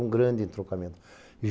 É um grande entrocamento.